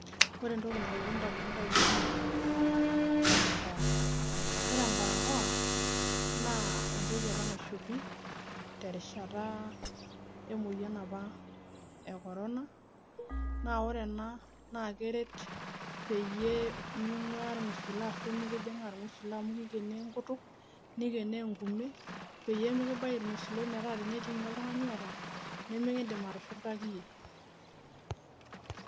Ore entoki nalotu ndamunot ainei naa embarakoa, ore embarakoa naa entoki apa naishopi terishata emueyian apa e korona. Naa ore ena naake eret peyie ming'uya irng'usilo ashu mekijing'aa irng'usila amu kikeni enkutuk, nikenoo enkume peyie mekibaiki irng'usilo metaa tenetii nye oltung'ani oata nemekiindim atushurtaki iyie.